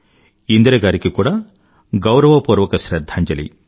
ఇందిరగారికి కూడా గౌరవపూర్వక శ్రధ్దాంజలి